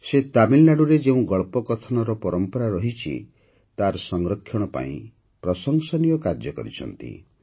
ସେ ତାମିଲନାଡୁରେ ଯେଉଁ ଗଳ୍ପକଥନର ପରମ୍ପରା ରହିଛି ତାର ସଂରକ୍ଷଣ ପାଇଁ ପ୍ରଶଂସନୀୟ କାର୍ଯ୍ୟ କରିଛନ୍ତି